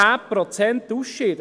10 Prozent ausscheiden: